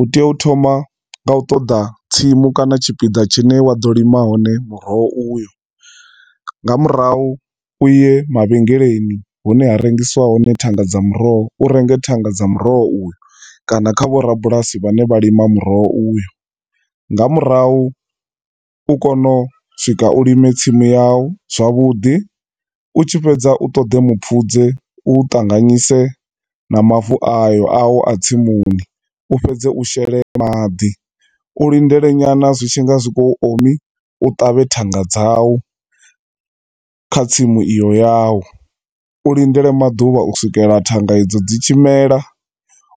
U tea u thoma nga u ṱoda tsimu kana tshipiḓa tshine wa ḓo lima hone muroho uyu, nga murahu uye mavhengeleni hune ha rengisiwa hone thanga dza muroho, u renge thanga dza muroho uyu, kana kha vho rabulasi vhane vha lima muroho uyu, nga murahu u kone u swika u lime tsimu ya wu zwavhudi, u tshifhedza u toḓe mupfudze u ṱanganyise na mavu ayo awu a tsimuni, u fhedze u shele maḓi, u lindele nyana zwi tshinga zwi khou ri omi, u ṱavhe thanga dzawu kha tsimu iyo yawu. U lindele maḓuvha u swikela thanga e dzo dzi tshi mela,